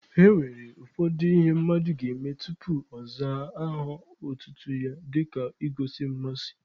E nwere ụfọdụ ihe mmadụ ga-eme tupu ọ zaa aha otutu ya dịka igosi mmasị.